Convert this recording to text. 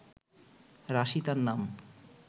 রাশি তার নাম